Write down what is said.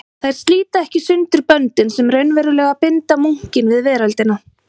Þær slíta ekki sundur böndin sem raunverulega binda munkinn við veröldina.